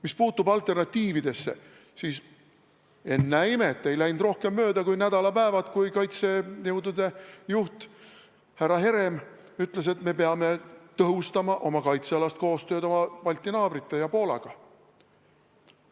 Mis puudutab alternatiive, siis, ennäe imet, ei läinud rohkem mööda kui nädalapäevad, kui kaitsejõudude juht härra Herem ütles, et me peame tõhustama kaitsealast koostööd oma Balti naabrite ja Poolaga.